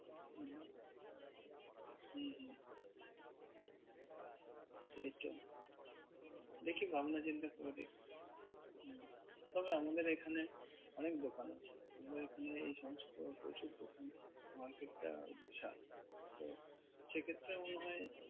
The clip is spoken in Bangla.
সেই তো দেখি ভাবনা চিন্তা করে দেখি হুম। তবে আমাদের এখানে অনেক দোকান আছে আমাদের এখানে এই সমস্ত প্রচুর দোকান। market টা বিশাল তো সে ক্ষেত্রে মনে হয়